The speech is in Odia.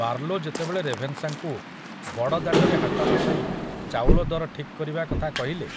ବାର୍ଲୋ ଯେତେବେଳେ ରେଭେନ୍‌ଶାଙ୍କୁ ବଡ଼ଦାଣ୍ଡରେ ହାଟ ବସାଇ ଚାଉଳ ଦର ଠିକ କରିବା କଥା କହିଲେ,